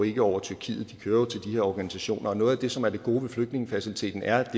ikke over tyrkiet de kører jo til de her organisationer noget af det som er det gode ved flygtningefaciliteten er at